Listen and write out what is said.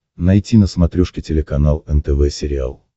найти на смотрешке телеканал нтв сериал